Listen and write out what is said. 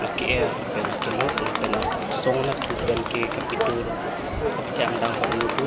ake er lapen akilok lapen angsong anat thu pen ke kepetur kapathe ang dang hormu do.